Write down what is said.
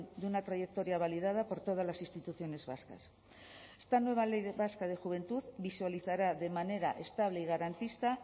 de una trayectoria validada por todas las instituciones vascas esta nueva ley vasca de juventud visualizará de manera estable y garantista